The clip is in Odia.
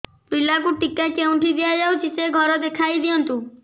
ପିଲାକୁ ଟିକା କେଉଁଠି ଦିଆଯାଉଛି ସେ ଘର ଦେଖାଇ ଦିଅନ୍ତୁ